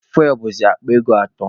Fuwel bụzi akpa ego atọ.